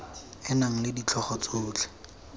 e nang le ditlhogo tsotlhe